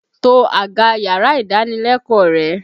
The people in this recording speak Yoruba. To àga yàrá-ìdánilẹ́kọ̀ọ́ rẹ!